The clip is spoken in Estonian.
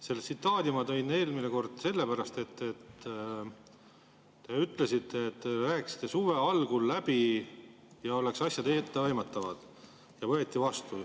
Selle tsitaadi ma tõin eelmine kord sellepärast, et te ütlesite, et te rääkisite suve algul läbi, et asjad oleksid etteaimatavad, ja need võeti vastu.